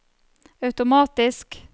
automatisk